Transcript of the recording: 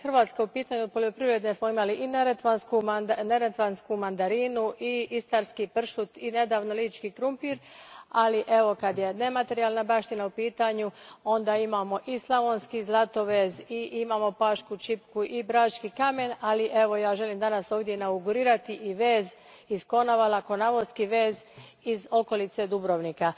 Kad je Hrvatska u pitanju od poljoprivrede smo imali i neretvansku mandarinu i istarski pršut i nedavno lički krumpir, ali kada je nematerijalna baština u pitanju onda imamo i slavonski zlatovez i pašku čipku i brački kamen, a ja ovdje danas želim inaugurirati i vez iz Konavala, konavoski vez iz okolice Dubrovnika.